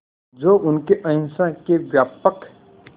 जो उनके अहिंसा के व्यापक